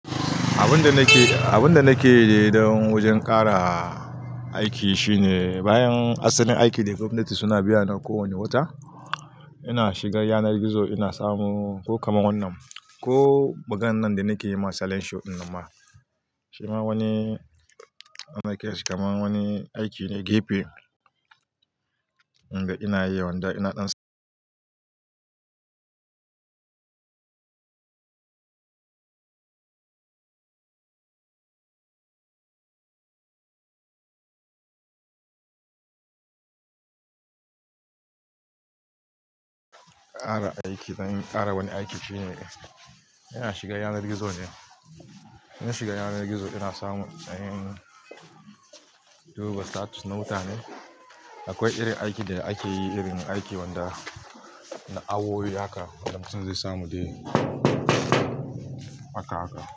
Abin da nake yi ne don wajen ƙara aiki shine bayan asalin aiki da gwamnati suna biya na kowane wata, ina shiga yanar gizo ina samu ko kamar wannan, ko maganan da nake yi ma salensho dinnan ma. Shima wani ana kiransa kamar wani aiki ne gepe, inda ina yi wanda ina ɗan ƙara aiki, ƙara wani aiki shine ina shiga yanar gizo ne. Ina shiga yanar gizo ina samu duba status na muta ne. Akwai irin aiki da akeyi, irin aiki wanda na awo yi haka, wanda mutum zai samu dai haka, haka.